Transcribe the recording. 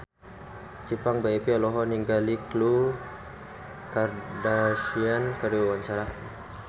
Ipank BIP olohok ningali Khloe Kardashian keur diwawancara